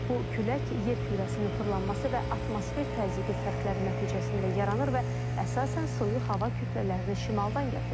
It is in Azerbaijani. Bu külək yer kürəsinin fırlanması və atmosfer təzyiqi fərqləri nəticəsində yaranır və əsasən soyuq hava kütlələrini şimaldan gətirir.